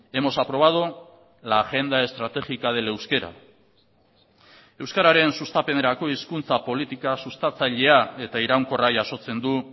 hemos aprobado la agenda estratégica del euskera euskararen sustapenerako hizkuntza politika sustatzailea eta iraunkorra jasotzen du